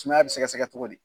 Sumaya be sɛgɛsɛgɛ cogo di?